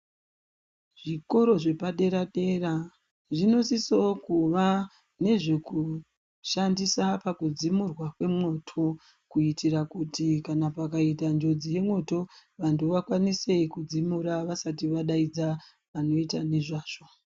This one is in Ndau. Zvikoro zvepadera-dera zvinosisovo kuva nezvekushandisa pakudzimurwa kwemwoto. Kuitira kuti kana pakaita njodzi yemwoto vantu vakwanise kudzimura vasati vadaidza vanoita nezvazvo.